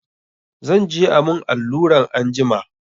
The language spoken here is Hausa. Zan je a mun alluran anjima.